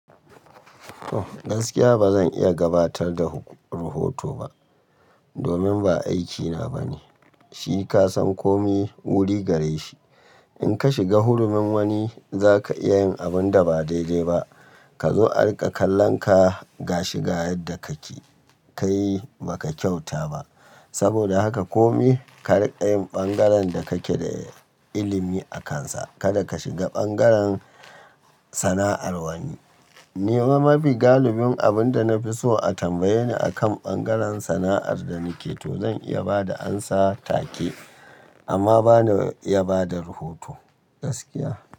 Gaskiya bazan iya gabatar da rahoto ba domin ba aikina bane. Shi ka san kome wuri gare shi. In ka shiga hurumin wani, zaka iya yin abunda ba daidai ba. Kazo a rika kallan ka ga shi ga yadda kake kai baka kyauta ba. Saboda haka kome ka rinka yi bangaren da kake da ilimi akansa. Kada ka shiga bangaren sana'ar wani. Ni fa mafi galibin abunda na fi so a tambaye ni akan bangaren sana'ar da nike toh zan iya bada amsa take amma bana iya bada rahoto gaskiya.